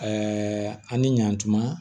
an ni ɲantuma